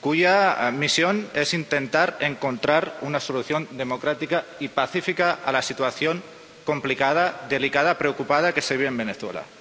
cuya misión es intentar encontrar una solución democrática y pacífica a la situación complicada, delicada, preocupante, que se vive en Venezuela.